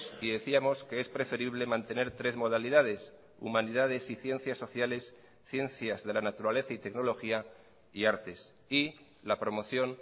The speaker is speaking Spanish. y decíamos que es preferible mantener tres modalidades humanidades y ciencias sociales ciencias de la naturaleza y tecnología y artes y la promoción